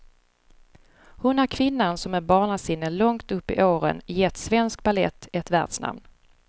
Hon är kvinnan som med barnasinne långt upp i åren gett svensk balett ett världsnamn.